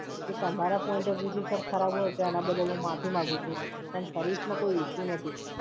જો તમારા Point of view થી Sir ખરાબ હોય, તો એના બદલ હૂં માફી માંગુ છું. પણ Service માં કોઈ issue નથી sir